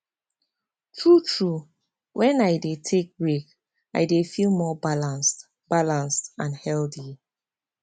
true true when i dey take break i dey feel more balanced balanced and healthy